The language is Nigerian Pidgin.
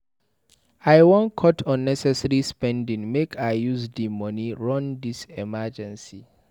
I wan cut unnecessary spending make I use di moni run dis emergency.